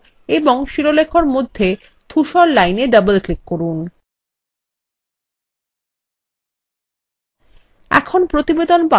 প্রতিবেদন শিরোলেখ এবং শিরোলেখএর মধ্যে ধূসর lineএ ডবল ক্লিক করুন